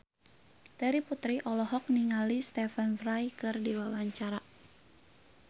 Terry Putri olohok ningali Stephen Fry keur diwawancara